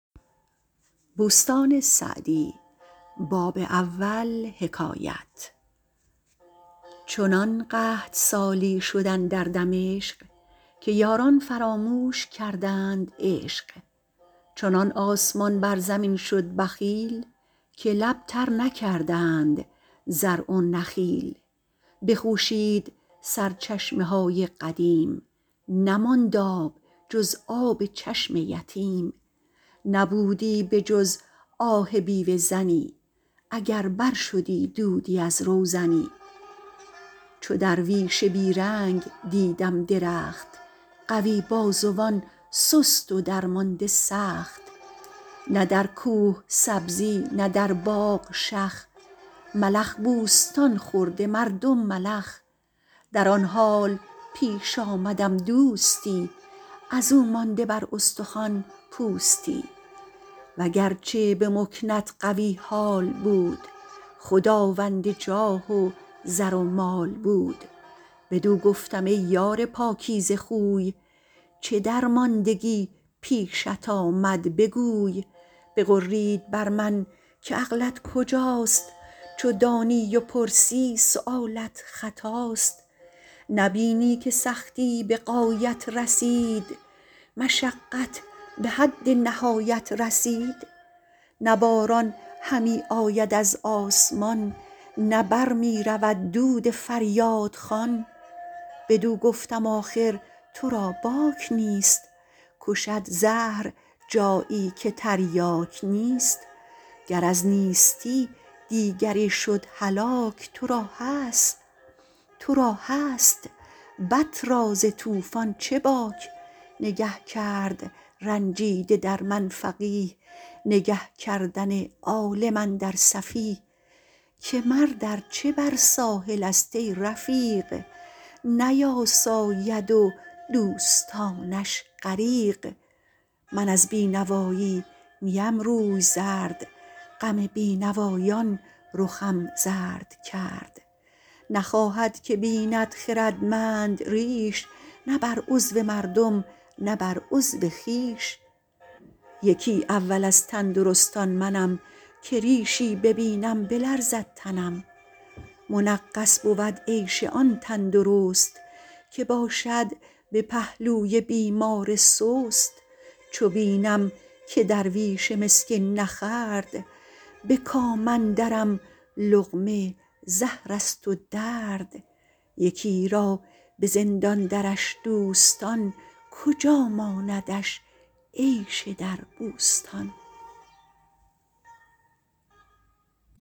چنان قحط سالی شد اندر دمشق که یاران فراموش کردند عشق چنان آسمان بر زمین شد بخیل که لب تر نکردند زرع و نخیل بخوشید سرچشمه های قدیم نماند آب جز آب چشم یتیم نبودی به جز آه بیوه زنی اگر بر شدی دودی از روزنی چو درویش بی رنگ دیدم درخت قوی بازوان سست و درمانده سخت نه در کوه سبزی نه در باغ شخ ملخ بوستان خورده مردم ملخ در آن حال پیش آمدم دوستی از او مانده بر استخوان پوستی وگرچه به مکنت قوی حال بود خداوند جاه و زر و مال بود بدو گفتم ای یار پاکیزه خوی چه درماندگی پیشت آمد بگوی بغرید بر من که عقلت کجاست چو دانی و پرسی سؤالت خطاست نبینی که سختی به غایت رسید مشقت به حد نهایت رسید نه باران همی آید از آسمان نه بر می رود دود فریادخوان بدو گفتم آخر تو را باک نیست کشد زهر جایی که تریاک نیست گر از نیستی دیگری شد هلاک تو را هست بط را ز طوفان چه باک نگه کرد رنجیده در من فقیه نگه کردن عالم اندر سفیه که مرد ارچه بر ساحل است ای رفیق نیاساید و دوستانش غریق من از بینوایی نیم روی زرد غم بینوایان رخم زرد کرد نخواهد که بیند خردمند ریش نه بر عضو مردم نه بر عضو خویش یکی اول از تندرستان منم که ریشی ببینم بلرزد تنم منغص بود عیش آن تندرست که باشد به پهلوی بیمار سست چو بینم که درویش مسکین نخورد به کام اندرم لقمه زهر است و درد یکی را به زندان درش دوستان کجا ماندش عیش در بوستان